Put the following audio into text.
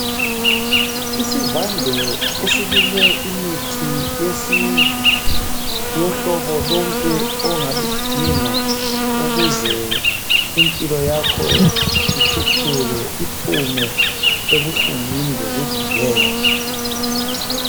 Isivande esilinywe imithi yesiNtu yohlobo lonke ongaludinga ukuze impilo yakho ithuthuke iphume ebuhlungwini lekuguleni.